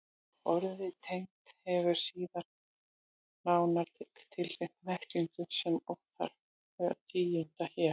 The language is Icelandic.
Orðið tegund hefur síðan nánar skilgreinda merkingu sem óþarft er að tíunda hér.